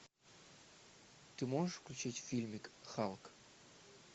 ты можешь включить фильмик халк